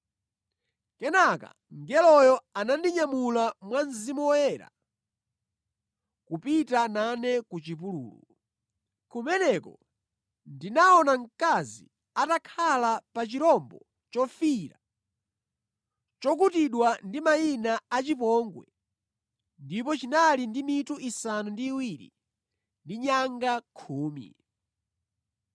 Kenaka mngeloyo anandinyamula mwa Mzimu Woyera kupita nane ku chipululu. Kumeneko ndinaona mkazi atakhala pa chirombo chofiira chokutidwa ndi mayina a chipongwe ndipo chinali ndi mitu isanu ndi iwiri ndi nyanga khumi.